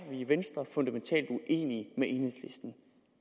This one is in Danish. i venstre fundamentalt uenige med enhedslisten